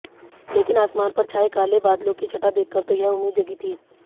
लेकिन आसमान पर छाए काले बादलों की छटा देखकर तो यह उम्मीद जगी थी